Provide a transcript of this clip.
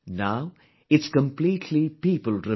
Now, it's completely people driven